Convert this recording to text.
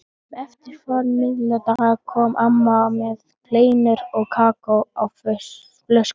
Um eftirmiðdaginn kom amma með kleinur og kakó á flösku.